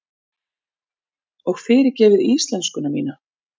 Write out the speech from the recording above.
Og fyrirgefið íslenskuna mína.